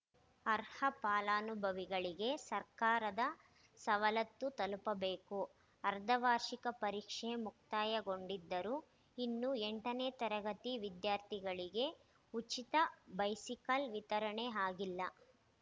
ಅರ್ಹ ಫಲಾನುಭವಿಗಳಿಗೆ ಸರ್ಕಾರದ ಸವಲತ್ತು ತಲುಪಬೇಕು ಅರ್ಧ ವಾರ್ಷಿಕ ಪರೀಕ್ಷೆ ಮುಕ್ತಾಯ ಗೊಂಡಿದ್ದರೂ ಇನ್ನು ಎಂಟನೇ ತರಗತಿ ವಿದ್ಯಾರ್ಥಿಗಳಿಗೆ ಉಚಿತ ಬೈಸಿಕಲ್‌ ವಿತರಣೆ ಆಗಿಲ್ಲ